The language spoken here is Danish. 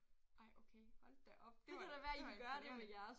Ej okay hold da op det var det var imponerende